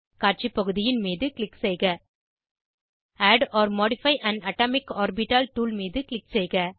காட்சி பகுதியின் மீது க்ளிக் செய்க add or modify an atomic orbital tool மீது க்ளிக் செய்க